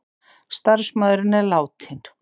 Starfsmaðurinn er látinn